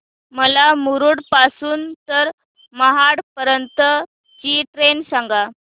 मला मुरुड पासून तर महाड पर्यंत ची ट्रेन सांगा